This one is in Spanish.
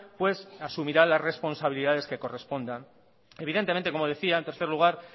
pues asumirá las responsabilidades que correspondan evidentemente como decía en tercer lugar